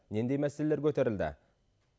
нендей мәселелер көтерілді